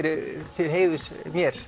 til heiðurs mér